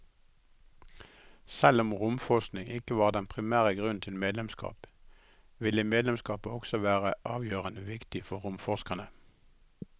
Selv om romforskning ikke var den primære grunnen til medlemskap, ville medlemskapet også være avgjørende viktig for romforskerne.